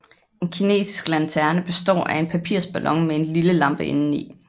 En kinesisk lanterne består af en papirsballon med en lille lampe inden i